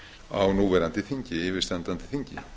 á núverandi þingi yfirstandandi þingi